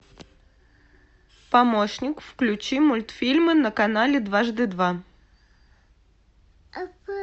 помощник включи мультфильмы на канале дважды два